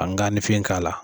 An ganifin k'a la